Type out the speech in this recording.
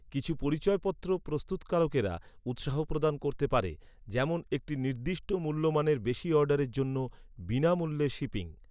কিছু পরিচয়পত্র প্রস্তুতকারকেরা উৎসাহ প্রদান করতে পারে, যেমন একটি নির্দিষ্ট মূল্যমানের বেশি অর্ডারের জন্য, বিনামূল্যে শিপিং।